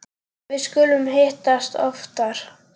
Við skulum hittast oftar